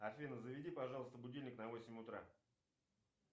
афина заведи пожалуйста будильник на восемь утра